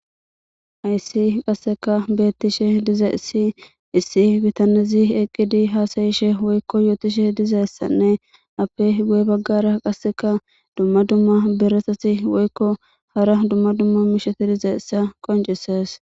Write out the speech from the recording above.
Hayssi qasseka beettishe diza issi issi bitanezi eqqidi haasayishe woykko yootishe dizayssanne appe gu7e baggara qasseka dumma dumma beresasi woykko hara dumma dumma misheti diza issa qoncises